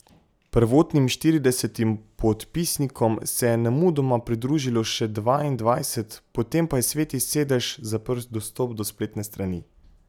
Prvotnim štiridesetim podpisnikom se je nemudoma pridružilo še dvaindvajset, potem pa je Sveti sedež zaprl dostop do spletne strani.